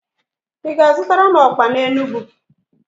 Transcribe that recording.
Ị ga-azutara m okpa n'Enugwu?